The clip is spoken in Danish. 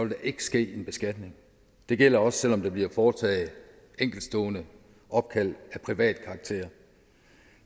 der ikke ske en beskatning det gælder også selv om der bliver foretaget enkeltstående opkald af privat karakter